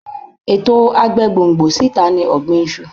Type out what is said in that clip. Ètò agbégbòǹgbò síta ni ọ̀gbìn iṣu.